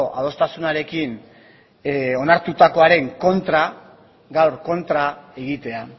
adostasunarekin onartutakoaren kontra gaur kontra egitea